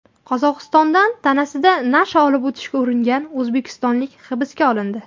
Qozog‘istondan tanasida nasha olib o‘tishga uringan o‘zbekistonlik hibsga olindi.